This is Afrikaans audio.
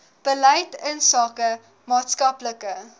beleid insake maatskaplike